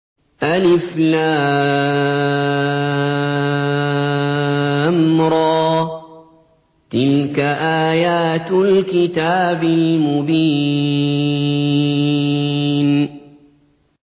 الر ۚ تِلْكَ آيَاتُ الْكِتَابِ الْمُبِينِ